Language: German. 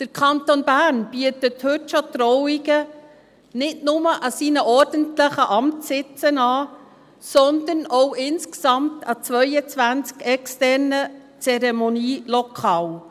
Der Kanton Bern bietet heute schon Trauungen nicht nur an seinen ordentlichen Amtssitzen an, sondern auch insgesamt an 22 externen Zeremonielokalen.